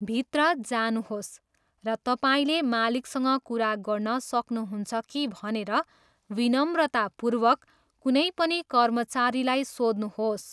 भित्र जानुहोस् र तपाईँले मालिकसँग कुरा गर्न सक्नुहुन्छ कि भनेर विनम्रतापूर्वक कुनै पनि कर्मचारीलाई सोध्नुहोस्।